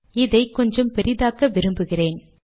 இதை கொஞ்சம் பெரிதாக்க விரும்புகிறேன்